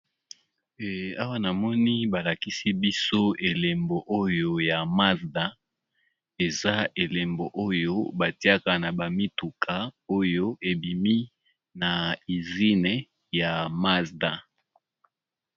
Awa na moni balakisi biso elembo oyo ya Mazda eza elembo oyo batiaka na ba mituka oyo ebimi na izine ya mazda.